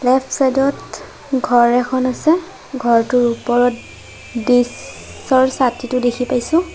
Left side ত ঘৰ এখন আছে ঘৰটোৰ ওপৰত ডিস্ক' ৰ ছাতিটো দেখি পাইছোঁ।